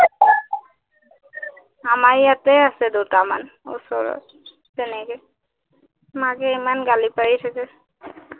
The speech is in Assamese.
আমাৰ ইয়াতে আছে দুটামান ওচৰৰ, তেনেকে, মাকে ইমান গালি পাৰি থাকে